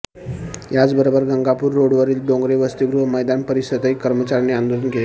याचबरोबर गंगापूर रोडवरील डोंगरे वसतीगृह मैदान परिसरातही कर्मचाऱ्यांनी आंदोलन केले